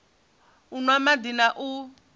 u nwa madi na u